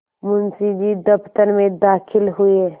मुंशी जी दफ्तर में दाखिल हुए